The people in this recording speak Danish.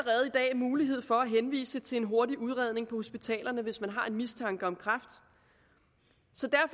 mulighed for at henvise til en hurtig udredning på hospitalerne hvis man har en mistanke om kræft